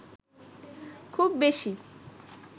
খুব বেশি